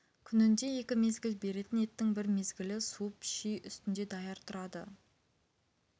күнінде екі мезгіл беретін еттің бір мезгілі суып ши үстінде даяр тұрады